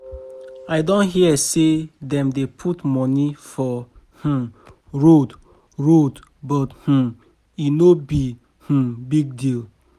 I don hear say dem dey put money for um road road but um e no be um big deal.